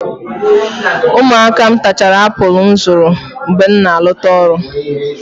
Ụmụaka m tachara apụl m zụrụ mgbe m na-alọta ọrụ.